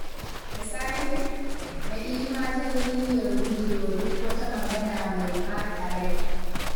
Da safe, Na'ima ta yi niyyar gujewa duk wata magana mai ɓata rai.